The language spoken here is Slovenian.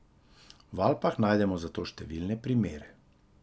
V Alpah najdemo za to številne primere.